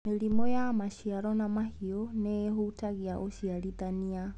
Mĩrimũ ya maciaro na mahiũ nĩihutagia ũciarithania.